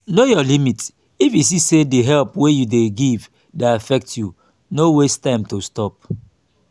know your limit if you see say help wey you dey give dey affect you no waste time to stop